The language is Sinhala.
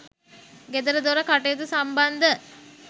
ගෙදරදොර කටයුතු සම්බන්ධ